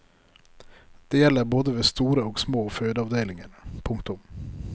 Det gjelder både ved store og små fødeavdelinger. punktum